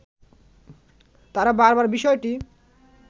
তারা বারবার বিষয়টি